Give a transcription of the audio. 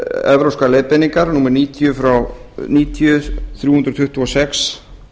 evrópskar leiðbeiningar númer níutíu þúsund þrjú hundruð tuttugu og sex